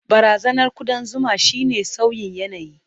Barazanar kudan zuma shine sauyin yanayi.